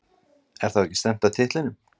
Er þá ekki stefnt að titlinum?